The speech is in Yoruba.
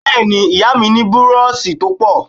Bẹ́ẹ́ ni, ìyá mi ní búróóṣì tó pọ̀.